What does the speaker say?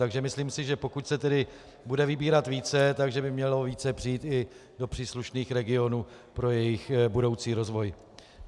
Takže myslím si, že pokud se tedy bude vybírat více, že by mělo více přijít i do příslušných regionů pro jejich budoucí rozvoj.